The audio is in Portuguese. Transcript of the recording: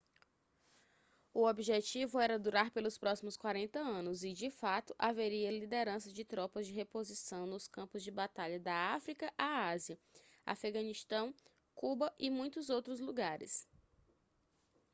o objetivo era durar pelos próximos 40 anos e de fato haveria liderança de tropas de reposição nos campos de batalha da áfrica à ásia afeganistão cuba e muitos outros lugares